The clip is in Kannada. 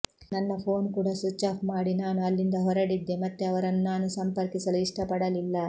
ನನ್ನ ಫೋನ್ ಕೂಡ ಸ್ವಿಚ್ ಆಫ್ ಮಾಡಿ ನಾನು ಅಲ್ಲಿಂದ ಹೊರಡಿದ್ದೆ ಮತ್ತೆ ಅವರನ್ನು ನಾನು ಸಂಪರ್ಕಿಸಲು ಇಷ್ಟಪಡಲಿಲ್ಲ